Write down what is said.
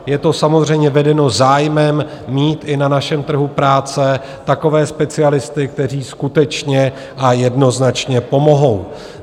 Je to samozřejmě vedeno zájmem mít i na našem trhu práce takové specialisty, kteří skutečně a jednoznačně pomohou.